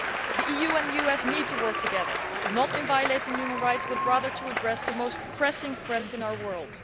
The EU and US need to work together, not in violating human rights, but rather to address the most pressing threats in our world.